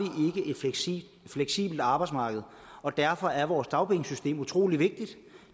fleksibelt arbejdsmarked og derfor er vores dagpengesystem utrolig vigtigt